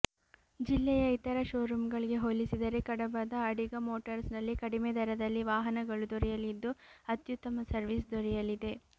ಜಿಲ್ಲೆಯ ಇತರ ಶೋರೂಮ್ಗಳಿಗೆ ಹೋಲಿಸಿದರೆ ಕಡಬದ ಅಡಿಗ ಮೋಟಾರ್ಸ್ನಲ್ಲಿ ಕಡಿಮೆ ದರದಲ್ಲಿ ವಾಹನಗಳು ದೊರೆಯಲಿದ್ದು ಅತ್ಯುತ್ತಮ ಸರ್ವಿಸ್ ದೊರೆಯಲಿದೆ